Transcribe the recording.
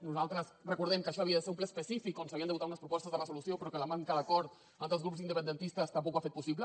nosaltres recordem que això havia de ser un ple específic on s’havien de votar unes propostes de resolució però que la manca d’acord entre els grups independentistes tampoc ho ha fet possible